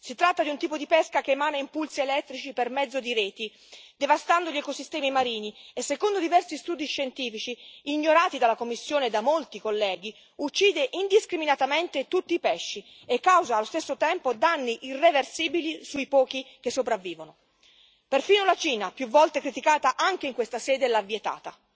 Si tratta di un tipo di pesca che emana impulsi elettrici per mezzo di reti, devastando gli ecosistemi marini, e secondo diversi studi scientifici, ignorati dalla Commissione e da molti colleghi, uccide indiscriminatamente tutti i pesci e causa, allo stesso tempo, danni irreversibili sui pochi che sopravvivono. Perfino la Cina, più volte criticata anche in questa sede, l'ha vietata.